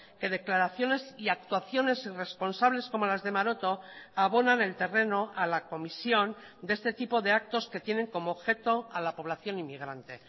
que declaraciones y actuaciones irresponsables como las de maroto abonan el terreno a la comisión de este tipo de actos que tienen como objeto a la población inmigrante